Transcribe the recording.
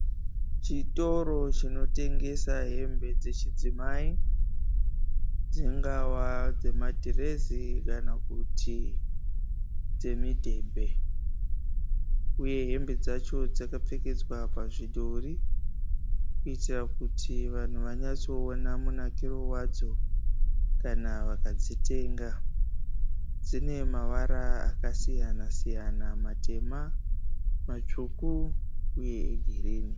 Chitoro chinotengesa hembe dzechidzimai dzingava dzemadhirezi kana kuti dzemidhebhe, uye hembe dzacho dzakapfekedzwa pazvidhori kuitira kuti vanhu vanyatsoona munakiro wadzo kana vakadzitenga dzine mavara akasiyana siyana matema, matsvuku uye egirini